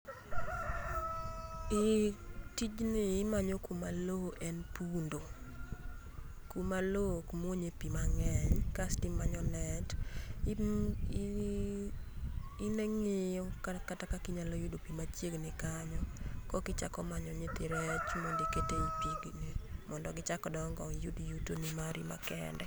Eeeh, tijni imanyo kuma loo en pundho, kuma loo ok muonye pii mangeny kasto imanyo net, ingiyo kata kaka inyalo yudo pii machiegni kanyo korka ichako manyo nyithi rech mondo oket ee pigi eri mondo gichak dongo, iyud yutoni mari ma kende